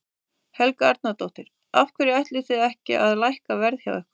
Helga Arnardóttir: Af hverju ætlið þið ekki að lækka verð hjá ykkur?